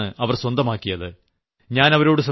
എത്ര വലിയ ശക്തിയാണ് അവർ സ്വന്തമാക്കിയത്